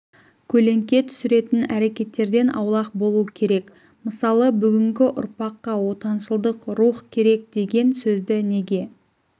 көлеңке түсіретін әрекеттерден аулақ болу керек мысалы бүгінгі ұрпаққа отаншылдық рух керек деген сөзді неге